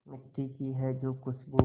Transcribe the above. मिट्टी की है जो खुशबू